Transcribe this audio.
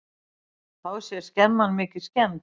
Þá sé skemman mikið skemmd.